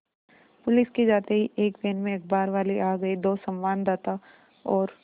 police के जाते ही एक वैन में अखबारवाले आ गए दो संवाददाता और